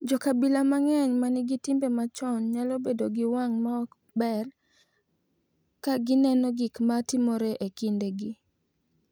Jo-kabila mang’eny ma nigi timbe machon nyalo bedo gi wang’ ma ok ber ka gineno gik ma timore e kindegi,